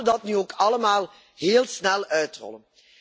Laten we dat nu ook allemaal heel snel uitrollen.